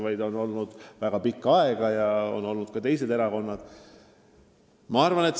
Nad on olnud väga pikka aega ja võimul on olnud ka teised erakonnad.